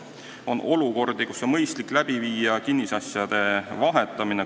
On olukordi, kus on mõistlik läbi viia kinnisasjade vahetamine.